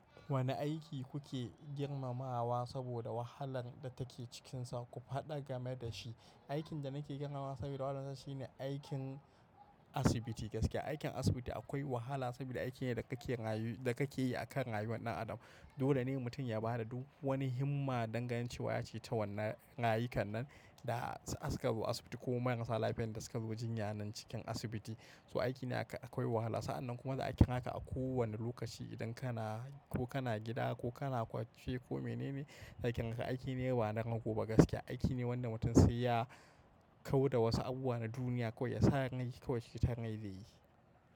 Wane aiki kuke girmamawa saboda wahalar da take cikinsa? Ku faɗa game da shi. Aikin da nake girmamawa saboda wahalansa shine aikin asibiti gaske. Aikin asibiti akwai wahala saboda aiki ne da kake yi a kan rayuwar ɗan adam. Dole ne mutum ya ba da duk wani himma dangane da cewa ya ceto wannan rayukan nan da suka zo asibiti ko kuma marasa lafiyar da suka zo jinya nan cikin asibiti. So aiki ne akwai wahala. Sa'annan kuma da aikin haka a kowane lokaci idan kana ko kana gida ko kana kwace ko menene, aikin ga aiki ne bana rago ba gaske. Aiki ne wanda mutum sai ya kau da wasu abubuwa na duniya kawai ya sa rai kawai citon rai zai yi.